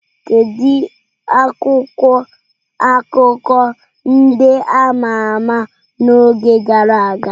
Kedu akwụkwọ akụkọ ndị a ma ama n'oge gara aga?